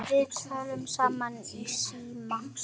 Við töluðum saman í síma.